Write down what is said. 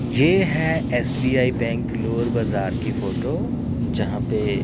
ये है SBI bank लोर बाजार की फोटो जहां पे--